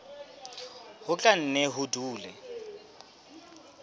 ho tla nne ho dule